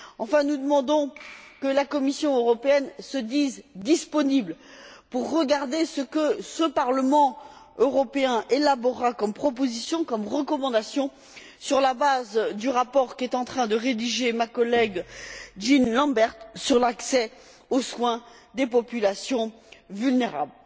Enfin, nous demandons que la Commission européenne se montre disposée à regarder ce que ce Parlement européen élaborera comme proposition, comme recommandation, sur la base du rapport qu'est en train de rédiger ma collègue Jean Lambert sur l'accès aux soins des populations vulnérables.